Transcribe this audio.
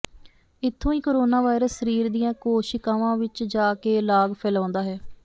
ਇੱਥੋਂ ਹੀ corona virus ਸਰੀਰ ਦੀਆਂ ਕੋਸ਼ਿਕਾਵਾਂ ਵਿਚ ਜਾ ਕੇ ਲਾਗ ਫੈਲਾਉਂਦਾ ਹੈ